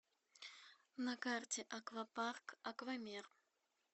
на карте аквапарк аквамир